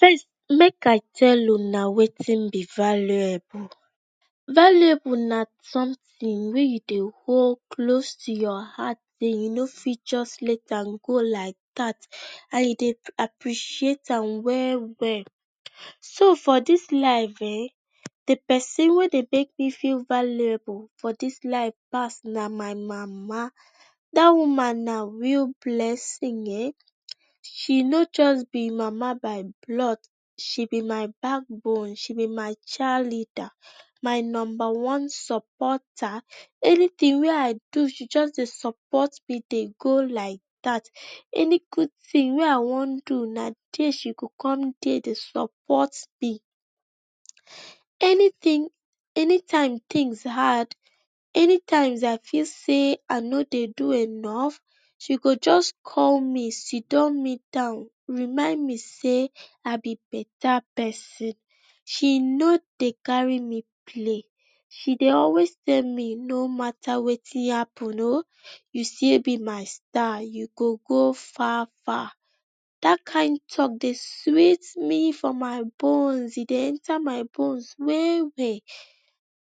First make I tell una wetin be valuable, valuable na somtin wey you dey hold close to your heart den you no fit just let am go like dat and you dey appreite am we-well. So for dis life ehn, the pesin ey dey make me feel valuable na my mama, da woman na real blesin ehn, she no just be mama by blood, she be my backbone, she be my child leada, my nomba one sopota. Anytin wey I do, she just dey sopot me dey go like dat, any gud tinwey I do na dia she go come dey dey sopot me/ anytime tins hard, anytime I feel sey I no dey do enof, she go jus t me, sit me down, remind me sey, I be beta pesin, she no dey kari me play, she dey always tell me no mata wetin happen o, you still be my star. You go gofar-far, dat kind talk dey sweet me for my bones, e dey enta my borne we-we.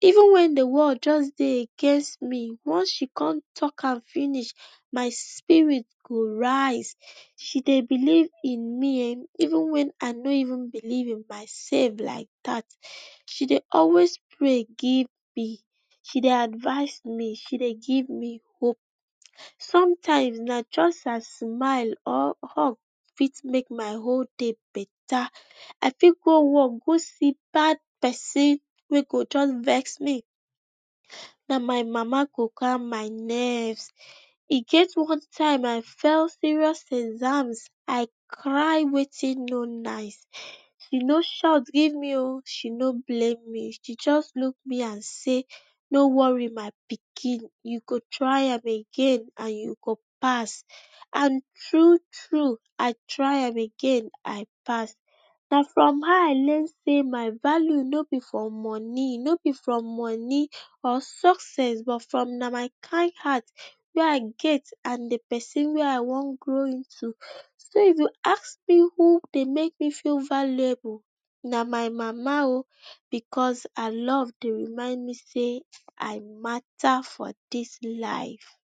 Even wen the world dey against me wen she con talk am finish, my spirit go raise. She dey believe in me even wen I no belief in my sef like dat. She dey always prey give me, she dey advice me, she dey give me hope, somtime na just her smile or hug fit make my wole day beta. I fit go work go see bad pesin wey go juts vexme, na my mama go calm my nerve. E get one time I fail serious exam I cry wetin no nice, she shout give me, she no blame me, she just luk me and sey no wori my pikin you go try am again and you pass and thru-thru I try am again, I pass. Na form her I learns my value no be for moni, or success na from my kind heart wey I get and the pesin wey I wan grow into. So if you ask me who dey make me feel valuable, na my mama o because her love dey remind me sey, I mata for dis life.